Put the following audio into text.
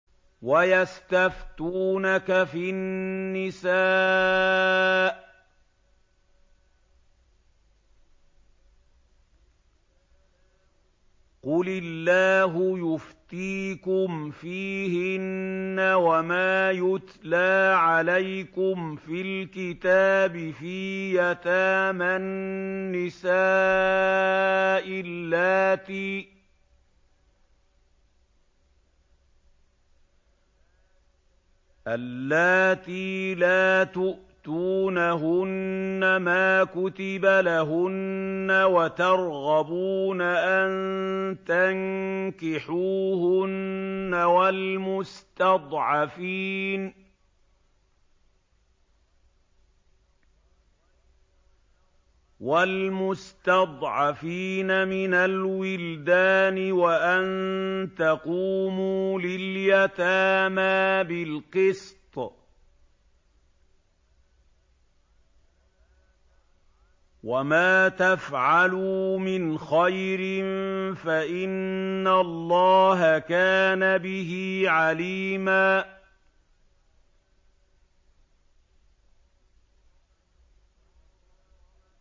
وَيَسْتَفْتُونَكَ فِي النِّسَاءِ ۖ قُلِ اللَّهُ يُفْتِيكُمْ فِيهِنَّ وَمَا يُتْلَىٰ عَلَيْكُمْ فِي الْكِتَابِ فِي يَتَامَى النِّسَاءِ اللَّاتِي لَا تُؤْتُونَهُنَّ مَا كُتِبَ لَهُنَّ وَتَرْغَبُونَ أَن تَنكِحُوهُنَّ وَالْمُسْتَضْعَفِينَ مِنَ الْوِلْدَانِ وَأَن تَقُومُوا لِلْيَتَامَىٰ بِالْقِسْطِ ۚ وَمَا تَفْعَلُوا مِنْ خَيْرٍ فَإِنَّ اللَّهَ كَانَ بِهِ عَلِيمًا